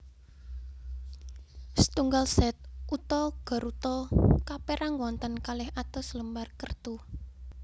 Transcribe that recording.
Setunggal set uta garuta kapérang wonten kalih atus lembar kertu